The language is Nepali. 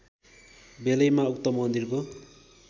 बेलैमा उक्त मन्दिरको